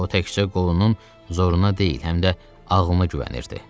O təkcə qolunun zoruna deyil, həm də ağlına güvənirdi.